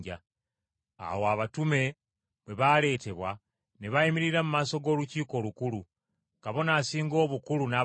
Awo abatume bwe baaleetebwa, ne bayimirira mu maaso g’Olukiiko Olukulu, Kabona Asinga Obukulu n’ababuuza